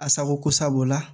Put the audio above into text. A sago ko sabu la